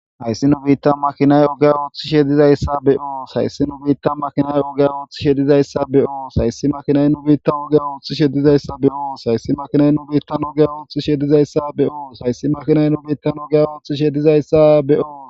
hayssi nu biitta makinay oga oothi shedizayssa be7oo sayssi nu biitta makinay oga oothth shedizayssa be7oo sayssi makinay nu biitta oge oothi shedizayssa be7oo sayssi makinay nu biittanugea ooththi shedizayssa be7oo sayssi makinay nu biitta nugea ooththi shedizayssa be7o